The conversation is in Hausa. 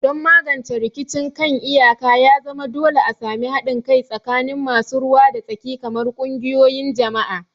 Don magance rikicin kan iyaka, ya zama dole a sami haɗin kai tsakanin masu ruwa da tsaki kamar ƙungiyoyin jama'a.